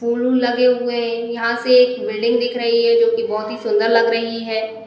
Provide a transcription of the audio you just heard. फूल वूल लगे हुए है। यहाँ से एक बिल्डिंग दिख रही है जोकि बहोत ही सुन्दर लग रही है।